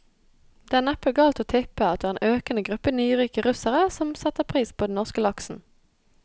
Det er neppe galt å tippe at det er en økende gruppe nyrike russere som setter pris på den norske laksen.